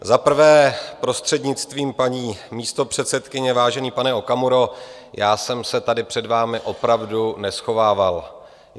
Za prvé, prostřednictvím paní místopředsedkyně, vážený pane Okamuro, já jsem se tady před vámi opravdu neschovával.